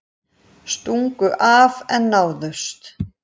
Stungu af en náðust